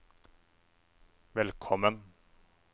velkommen